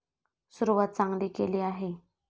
सुरुवात चांगली केली आहे.